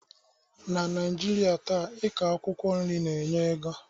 Na Naijiria taa,i kọ akwụkwọ nri na-enye ego